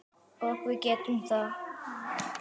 Og við getum það.